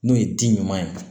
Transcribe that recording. N'o ye di ɲuman ye